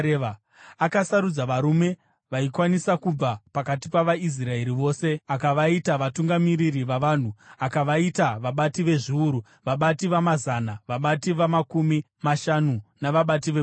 Akasarudza varume vaikwanisa kubva pakati pavaIsraeri vose akavaita vatungamiriri vavanhu, akavaita vabati vezviuru, vabati vamazana, vabati vamakumi mashanu, navabati vegumi.